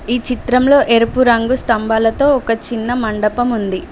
ఈ చిత్రంలో ఎరుపు రంగు స్తంభాలతో ఒక చిన్న మండపం ఉంది.